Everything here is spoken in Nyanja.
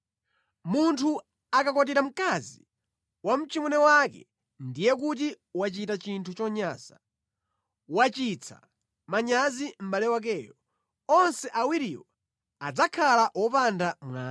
“ ‘Munthu akakwatira mkazi wa mchimwene wake ndiye kuti wachita chinthu chonyansa. Wachititsa manyazi mʼbale wakeyo. Onse awiriwo adzakhala wopanda mwana.